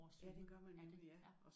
Ja det gør man nemlig ja